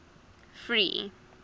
free